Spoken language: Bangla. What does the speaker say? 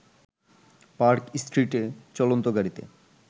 পার্ক স্ট্রীটে চলন্ত গাড়ীতে